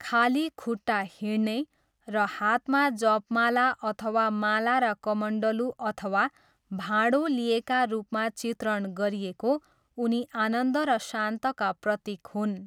खाली खुट्टा हिँड्ने र हातमा जपमाला अथवा माला र कमण्डलु अथवा भाँडो लिएका रूपमा चित्रण गरिएको, उनी आनन्द र शान्तका प्रतीक हुन्।